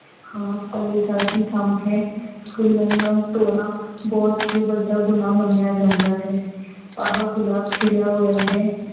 ਹਾਂ, ਭਲੇ ਦਾ ਹੀ ਕੰਮ ਹੈ, ਫੁੱਲਾਂ ਨੂੰ ਤੋੜਨਾ ਬਹੁਤ ਹੀ ਵੱਡਾ ਗੁਨਾਹ ਮੰਨਿਆ ਜਾਂਦਾ ਹੈ, ਆਹ ਗੁਲਾਬ ਖਿੜਿਆ ਹੋਇਆ ਹੈ।